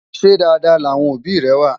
ṣé Dàda láwọn òbí é wà?